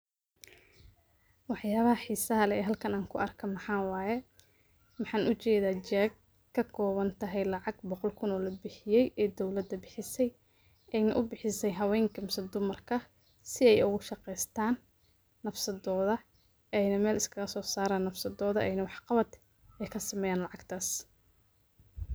Wax yabaha xiisaha leh ee halkan anku arko maxa waye maxan ujeeda cheque kakoobantahay lacag boqol kun oo labixiye ee dowlada bixiisa ubixiise hawenka mise dumarka si ay ogu shaqeystan nafsadooda ayna Mel iskaga soo saran nafsadooda ayna wax qabab kasameeyan lacagtaas